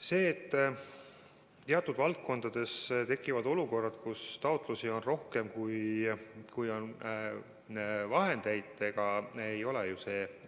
See, et teatud valdkondades tekivad olukorrad, kus taotlusi on rohkem, kui on vahendeid, ei ole ju